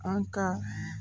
An ka